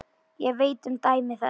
Ég veit um dæmi þess.